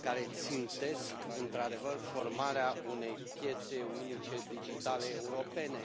care țintesc într adevăr formarea unei piețe unice digitale europene.